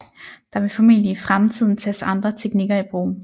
Der vil formentlig i fremtiden tages andre teknikker i brug